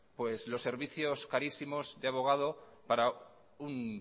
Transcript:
los servicios carísimos de abogado para un